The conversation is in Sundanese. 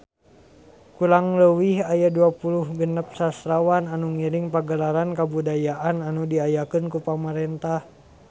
Kurang leuwih aya 26 sastrawan anu ngiring Pagelaran Kabudayaan anu diayakeun ku pamarentah